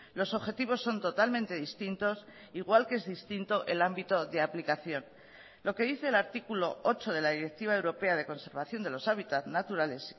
los objetivos son totalmente distintos igual que es distinto el ámbito de aplicación lo que dice el artículo ocho de la directiva europea de conservación de los hábitat naturales